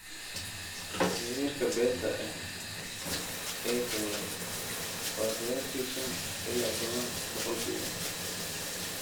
Heerka beenta ah ee togan waa qiyaastii shaan ilaa tobaan boqolkiiba.